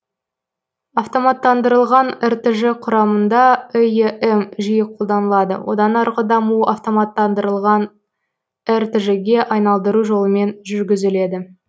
автоматтандырылған ртж құрамында эем жиі қолданылады одан арғы дамуы автоматтандырылған ртж ге айналдыру жолымен жүргізіледі